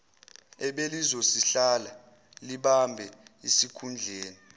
ebelizosihlala libambe isikhundleni